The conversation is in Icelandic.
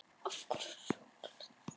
Þú þráir hina ómenguðu kraftlausu uppgjöf.